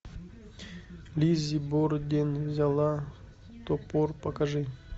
лиззи борден взяла топор покажи